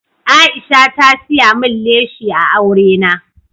Aisha ta siya min leshi a aure na.